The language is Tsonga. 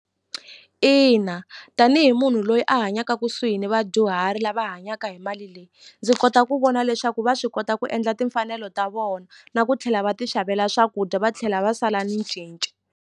Ina tanihi munhu loyi a hanyaka kusuhi ni vadyuhari lava hanyaka hi mali leyi ndzi kota ku vona leswaku va swi kota ku endla timfanelo ta vona na ku tlhela va ti xavela swakudya va tlhela va sala ni cinci.